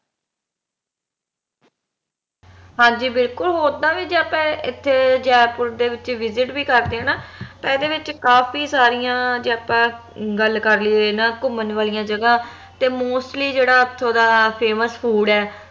ਹਾਂਜੀ ਬਿਲਕੁਲ ਓਦਾਂ ਵੀ ਜੇ ਆਪਾਂ ਇਥੇ ਜੈਪੁਰ ਦੇ ਵਿਚ visit ਵੀ ਕਰਦੇ ਆ ਨਾ ਤੇ ਏਹਦੇ ਵਿਚ ਕਾਫੀ ਸਾਰੀਆਂ ਜੇ ਆਪਾ ਗੱਲ ਕਾਰਲੀਏ ਇਹਨਾਂ ਘੁੰਮਣ ਵਾਲਿਆਂ ਜਗਾ ਤੇ mostly ਜੇਹੜਾ ਓਥੋਂ ਦਾ famous food ਆ